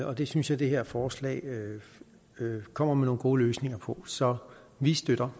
og det synes jeg det her forslag kommer med nogle gode løsninger på så vi støtter